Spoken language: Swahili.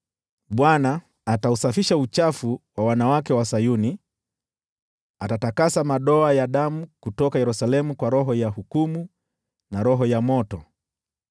Bwana atausafisha uchafu wa wanawake wa Sayuni, atatakasa madoa ya damu kutoka Yerusalemu kwa Roho ya hukumu na Roho ya moto.